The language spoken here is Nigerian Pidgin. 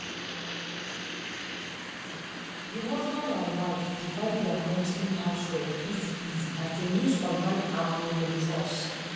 the husband and wife divide their monthly house rent easy easy as dem use online app wey dem trust